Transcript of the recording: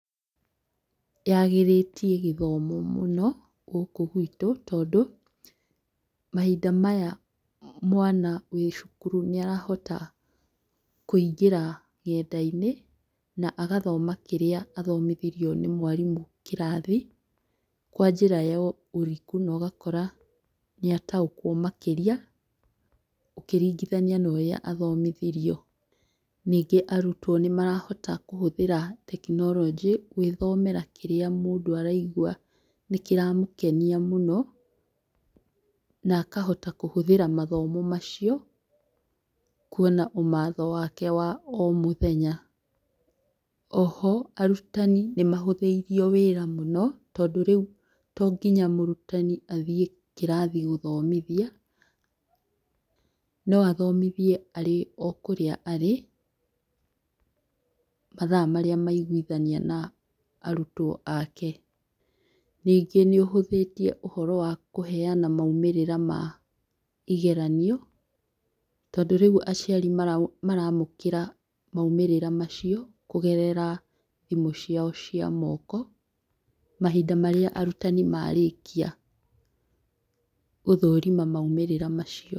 Yagĩrĩtie gĩthomo mũno gũkũ gwitũ tondũ, mahinda maya mwana wĩ cukuru nĩ arahota kũingĩra ng'enda-inĩ na agathoma kĩrĩa athomithirio nĩ mwarimũ kĩrathi, kwa njĩra ya ũriku na ũgakora nĩ ataũkwo makĩria ũkĩringithania na ũrĩa athomithirio. Ningĩ arutwo nĩ marahota kũhũthĩra tekinoronjĩ, gwĩthomera kĩrĩa mũndũ araigua nĩ kĩramũkenia mũno, na akahota kũhũthĩra mathomo macio na kwona ũmatho wake wa o mũthenya. Oho arutani nĩ mahũthĩirio wĩra mũno, tondũ rĩu to nginya mũrutani athiĩ kĩrathi gũthomithia, no athomithie arĩ o kũrĩa arĩ mathaa marĩa maiguthania na arutwo ake. Ningĩ nĩ ũhũthĩtie ũhoro wa kũheana maũmĩrĩra ma igeranio, tondũ rĩu aciari maramũkĩra maũmĩrĩra macio kũgerera thimũ ciao cia moko, mahinda marĩa arutani marĩkia gũthũrima maũmĩrĩra macio.